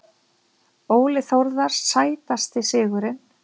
Óli Þórðar Sætasti sigurinn?